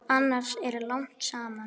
Annars er lagt saman.